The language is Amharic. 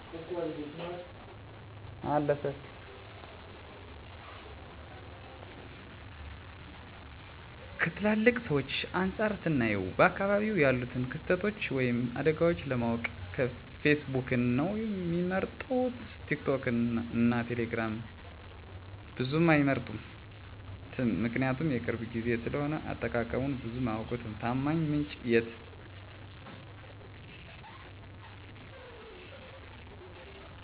ከትላልቅ ሰዎች አንፃር ስናየው በአካባቢው ያሉትን ክስተቶች ወይም አደጋዎችን ለማወቅ ፌስቡክን ነው ሚመርጡት ቲክቶክን እና ቴሌግራምን ብዙም አይመርጡትም ምክንያቱም የቅርብ ጊዜ ስለሆነ አጠቃቀሙን ብዙም አያውቁትም፣ ታማኝ ምንጭን የት እንደሚያገኙት ላያውቁ ይችላሉ። ከወጣቶች አንፃር ስናየው ደግሞ ሁሉንም ይመርጣሉ ምክንያቱም ስለማህበራዊ ሚዲያ ከትላልቅ ሰዎች አንፃር ብዙ እውቀት አላቸው እና ደግሞ የመረጃ ምንጩም በደንብ ያውቃሉ። በአጠቃላይ ለቴክኖሎጂ በጣም ቅርብ ናቸው